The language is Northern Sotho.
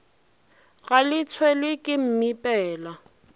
ga le tshelwe ke mmipela